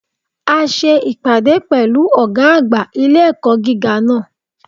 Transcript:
A se ìpàdé pẹ̀lú Ògá àgbà ilé-ẹ̀kọ́ gíga náà